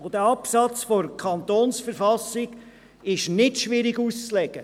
Dieser Absatz der KV ist nicht schwierig auszulegen.